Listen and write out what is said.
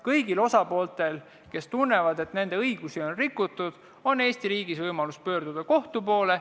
Kõigil osapooltel, kes tunnevad, et nende õigusi on rikutud, on Eesti riigis võimalus pöörduda kohtu poole.